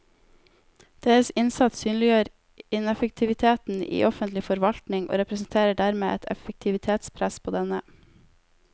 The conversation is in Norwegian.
Deres innsats synliggjør ineffektiviteten i offentlig forvaltning og representerer dermed et effektivitetspress på denne.